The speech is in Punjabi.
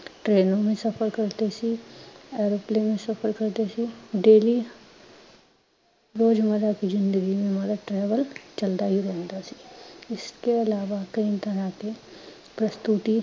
ਟੇ੍ਨੋਂ ਮੇਂ ਸਫਰ ਕਰਦੇ ਸੀ, airplane ਸਫਰ ਕਰਦੇ ਸੀ daily ਰੋਜਮਰ੍ਹਾ ਕੀ ਜਿਂਦਗੀ ਮੇਂ ਹਮਾਰਾ travel ਚਲਦਾ ਹੀ ਰਹਿੰਦਾ ਸੀ। ਇਸਕੇ ਇਲਾਵਾ ਕਈ ਤਰ੍ਹਾਂ ਕੇ ਪ੍ਸਤੁਤੀ